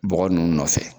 Bɔgɔ ninnu nɔfɛ